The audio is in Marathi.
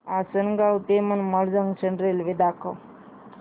आसंनगाव ते मनमाड जंक्शन रेल्वे दाखव